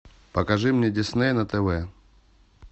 покажи мне дисней на тв